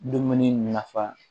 Dumuni nafa